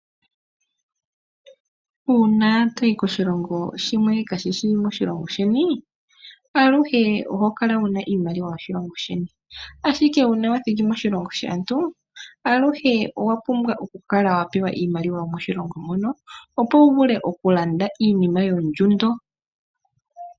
Uuna toyi koshilongo shimwe kaashi shi moshilongo sheni, aluhe oho kala wuna iimaliwa yoshilongo sheni . Ashike uuna wathiki moshilongo shaantu, aluhe owa pumbwa oku kala wa pewa iimaliwa yomo shilongo mono opo wu vule oku landa iinima yina ondjundo